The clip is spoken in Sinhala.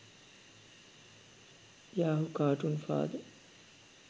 yahoo cartoon father